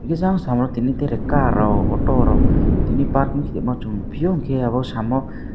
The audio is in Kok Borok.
higke jang samo tini tere car rok auto rok tini parking kaimo chung nogpio hingke abo samo.